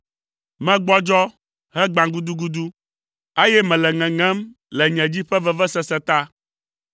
Megbɔdzɔ, hegba gudugudu, eye mele ŋeŋem le nye dzi ƒe vevesese ta.